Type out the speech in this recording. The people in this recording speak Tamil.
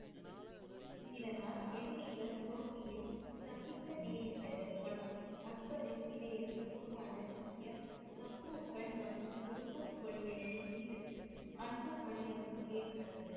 இதனால் எதிரிகள் தோல்வியைச் சந்திக்க நேரிட்டது மற்றும் அக்பரின் இதயத்தில் உருவான சீக்கிய சத்ருக்கள் மற்றும் குருமத் கொள்கைகளின் மீது அன்பு மரியாதையும் ஏற்பட்டது.